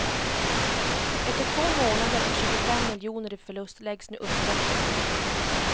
Efter två månader och tjugofem miljoner i förlust läggs nu uppsättningen ned.